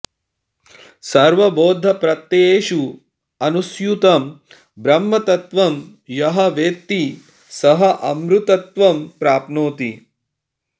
सर्वबौद्धप्रत्ययेषु अनुस्यूतं ब्रह्मतत्त्वं यः वेत्ति सः अमृतत्वं प्राप्नोति